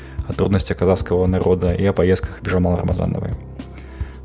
о трудностях казахского народа и о поездках бижамал рамазановой